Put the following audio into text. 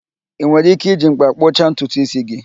Ị nwere ike iji m̀kpá kpụcha ntutu ísí gị